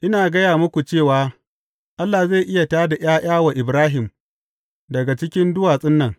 Ina gaya muku cewa Allah zai iya tā da ’ya’ya wa Ibrahim daga cikin duwatsun nan.